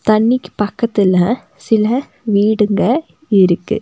தண்ணிக்கு பக்கத்துல சில வீடுங்க இருக்கு.